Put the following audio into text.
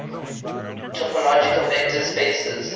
topological vector spaces